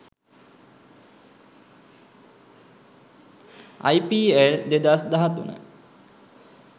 ipl2013